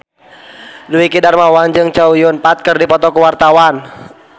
Dwiki Darmawan jeung Chow Yun Fat keur dipoto ku wartawan